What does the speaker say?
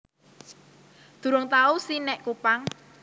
Durung tau si nek Kupang